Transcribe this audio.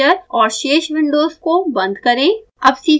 device manager और शेष Windows को बंद करें